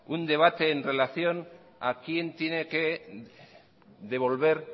un debate en relación a quién tiene que devolver